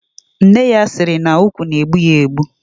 Nne ya siri na ukwu na egbu ya egbu.